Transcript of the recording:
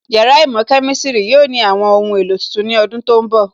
Yàrá īmò Kemistiri yóò ní àwọn ohun èlò tuntun ní ọdún tó ń bọ̀